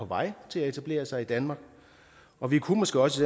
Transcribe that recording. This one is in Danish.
vej til at etablere sig i danmark og vi kunne måske også